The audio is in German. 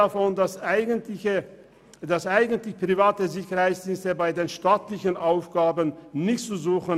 Zudem haben private Sicherheitsdienste bei staatlichen Aufgaben eigentlich nichts zu suchen.